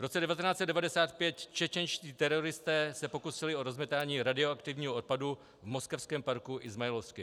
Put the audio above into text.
V roce 1995 čečenští teroristé se pokusili o rozmetání radioaktivního odpadu v moskevském parku Izmajlovskij.